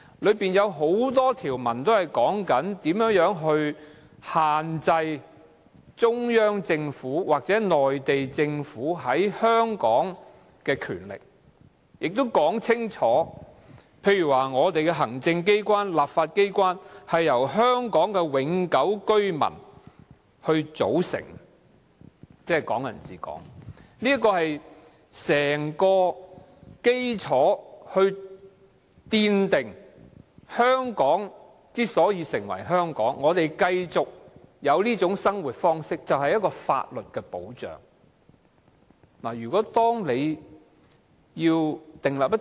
《基本法》中有很多條文也訂明如何限制中央政府或內地政府在香港的權力，例如香港的行政機關和立法機關由香港永久性居民組成，即"港人治港"，這是奠定香港之所以成為香港的基礎，我們有法律保障繼續享有這種生活方式。